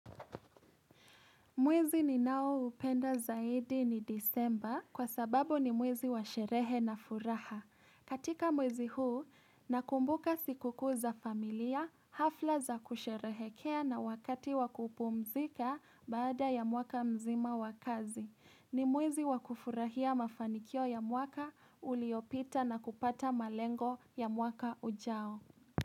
Mwezi ninao upenda zaidi ni disemba kwa sababu ni mwezi wa sherehe na furaha. Katika mwezi huu, nakumbuka siku kuu za familia, hafla za kusherehekea na wakati wakupumzika baada ya mwaka mzima wakazi. Ni mwezi wa kufurahia mafanikio ya mwaka uliopita na kupata malengo ya mwaka ujao.